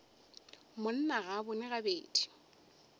monna ga a bone gabedi